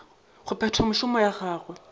go phetha mešomo ya gagwe